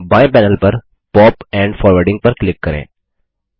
बाएँ पैनल पर pop and forwarding पर क्लिक करें